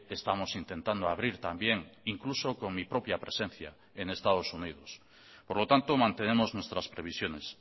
estamos intentando abrir también incluso con mi propia presencia en estados unidos por lo tanto mantenemos nuestras previsiones